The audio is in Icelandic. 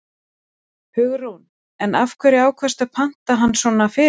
Hugrún: En af hverju ákvaðstu að panta hann svona fyrirfram?